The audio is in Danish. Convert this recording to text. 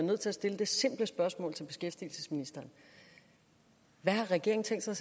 nødt til at stille det simple spørgsmål til beskæftigelsesministeren hvad har regeringen tænkt sig